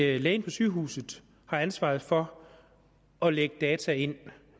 lægen på sygehuset har ansvaret for at lægge data ind